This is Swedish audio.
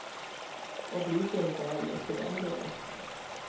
Och bryr sig inte heller, för den delen.